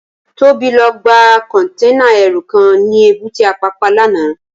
Tobi lò gbá kònténá èrú kán ni ébùté Apapa làná